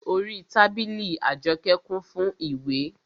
Orí tábìlì Àjọkẹ́ kún fún ìwé